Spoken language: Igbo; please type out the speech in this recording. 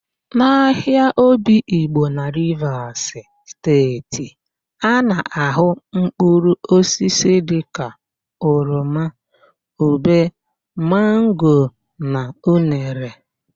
N'ahịa Obigbo na Rivas Steeti,a na-ahụ mpkụrụosisi dịka oroma, ube, mango na unere.